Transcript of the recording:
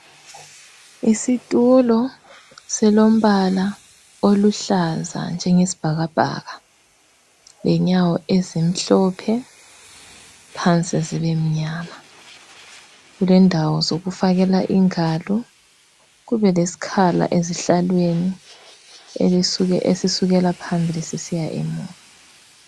Isitulo silombala oluhlaza njengesibhakabhaka. Lenyawo ezimhlophe phansi zibe mnyama. Kulendawo zokufakela ingalo. Kubelesikhala ezihlalweni esisukela phambili sisiya emuva.